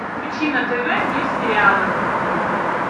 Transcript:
включи на тв мир сериала